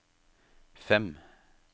fem